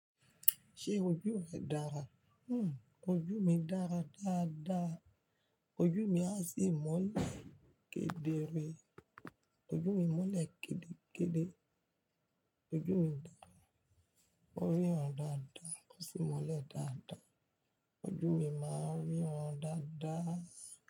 Ṣé ojú rẹ dára? Ojú mi dára dáadáa. Ojú mi a sì mọ́lẹ̀ kedere. Ojú mi mọ́lẹ̀ kede kede. Ojú mi dára, mo rí ran dáadáa. O sì mọ́lẹ̀ dáadáa. Ojú mi máa ń rí wọn dáadáa.